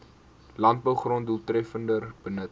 landbougrond doeltreffender benut